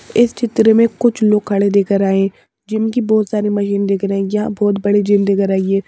इस चित्र में कुछ लोग खड़े दिख रहे जिम की बहुत सारी मशीन दिख रही या बहुत बड़ी जिम दिख रही है।